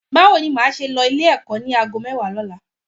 Báwo ni o máa ṣe lọ Ilé-ẹ̀kọ́ ní aago mẹ́wàá lọ́la?